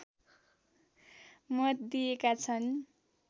मत दिएका छन्